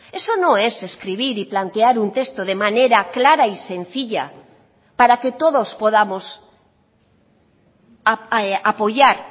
eso no es escribir y plantear un texto de manera clara y sencilla para que todos podamos apoyar